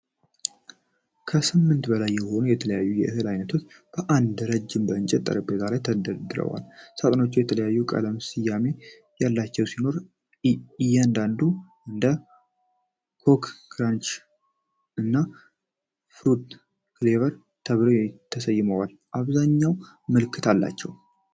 ከስምንት በላይ የሆኑ የተለያዩ የእህል አይነቶች በአንድ ረድፍ በእንጨት ጠረጴዛ ላይ ተደርድረዋል። ሳጥኖቹ የተለያየ ቀለምና ስያሜ ያላቸው ሲሆን፣ አንዳንዶቹ እንደ "ኮኮ ክራንች" እና "ፍሩቲ ፍሌክስ" ተብለው ተሰይመዋል። አብዛኛዎቹ ምልክት አላቸው።